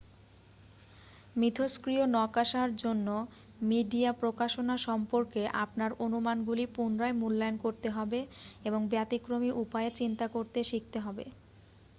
মিথষ্ক্রিয় নকাশার জন্য মিডিয়া প্রকাশনা সম্পর্কে আপনার অনুমানগুলি পুনরায় মূল্যায়ন করতে হবে এবং ব্যতিক্রমী উপায়ে চিন্তা করতে শিখতে হবে